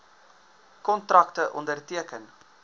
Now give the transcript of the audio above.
kontrakte onderteken